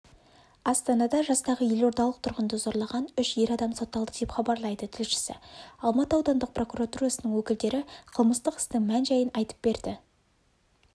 астанада жастағы елордалық тұрғынды зорлаған үш ер адам сотталды деп хабарлайды тілшісі алматы аудандық прокуратурасының өкілдері қылмыстық істің мән-жайын айтып берді